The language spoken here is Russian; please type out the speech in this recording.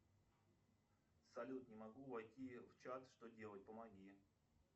салют не могу войти в чат что делать помоги